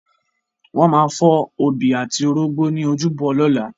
Wọ́n máa fọ́ obì àti orógbó ní ojúbọ lọ́la.